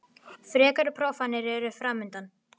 Frekari prófanir eru framundan